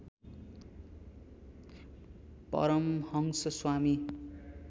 Paramhans Swami